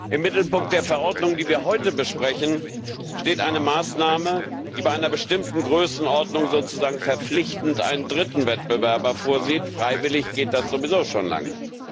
Im Mittelpunkt der Verordnung, die wir heute besprechen, steht eine Maßnahme, die bei einer bestimmten Größenordnung sozusagen verpflichtend einen dritten Wettbewerber vorsieht, freiwillig geht sowieso schon lange.